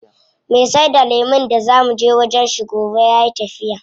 Me saida lemun da zaa muje wajen shi gobe yayi tafiya.